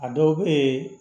A dɔw bɛ